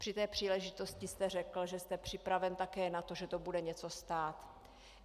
Při té příležitosti jste řekl, že jste připraven také na to, že to bude něco stát.